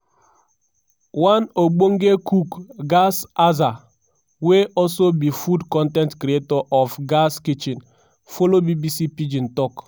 one ogbonge cook gaz azah wey also be food con ten t creator of gaz kitchen follow bbc pidgin tok.